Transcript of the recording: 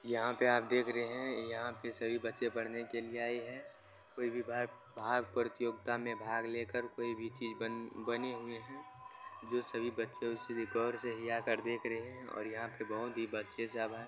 यहां पे आप देख रहे यहां पे सभी बच्चे पढ़ने के लिए आए है कोई भी भाग प्रतियोगिता में भाग लेकर कोई भी चीज बन -बनी हुई है जो सभी बच्चे उसे गौर से हीया कर देख रहे है और यहां पे बहुत ही बच्चे सब है।